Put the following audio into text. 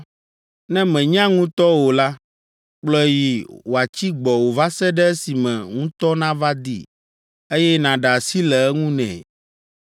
Ne mènya nutɔ o la, kplɔe yi wòatsi gbɔwò va se ɖe esime nutɔ nava dii, eye nàɖe asi le eŋu nɛ.